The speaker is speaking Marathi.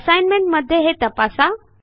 असाईनमेंट मध्ये हे तपासा